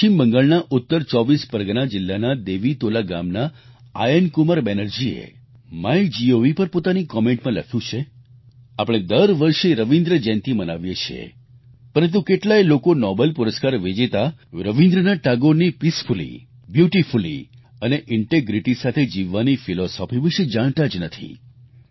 પશ્ચિમ બંગાળના ઉત્તર 24 પરગના જિલ્લાના દેવીતોલા ગામના આયનકુમાર બેનર્જીએ માયગોવ પર પોતાની કોમેન્ટ માં લખ્યું છે આપણે દરવર્ષે રવિન્દ્ર જયંતિ મનાવીએ છીએ પરંતુ કેટલાય લોકો નોબેલ પુરસ્કાર વિજેતા રવિન્દ્રનાથ ટાગોરની પીસફુલી બ્યુટીફુલી અને ઇન્ટિગ્રિટી સાથે જીવવાની ફિલોસોફી વિશે જાણતા જ નથી